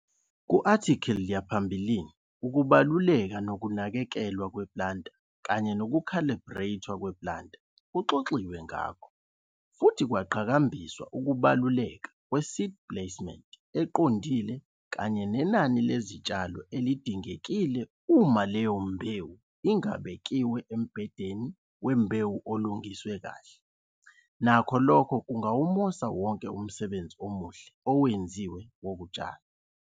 Ku-athikhili yaphambilini ukubaluleka kokunakekelwa kwe-planter kanye nokukhalibhrethwa kwe-planter kuxoxiwe ngakho futhi kwaqhakambiswa ukubaluleka kwe-seed placement eqondile kanye nenani lezitshalo elidingekile kodwa UMA LEYO MBEWU ingabekiwe embhedeni wembewu olungiswe kahle, nakho lokho kungawumosa wonke umsebenzi omuhle owenziwe wokutshala!